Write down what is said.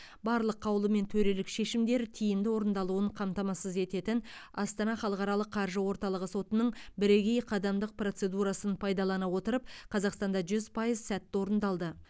барлық қаулы мен төрелік шешімдер тиімді орындалуын қамтамасыз ететін астана халықаралық қаржы орталығы сотының бірегей қадамдық процедурасын пайдалана отырып қазақстанда жүз пайыз сәтті орындалды